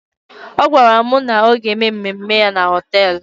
Ọ gwara mụ na ọ ga-eme mmemme ya na họtelụ.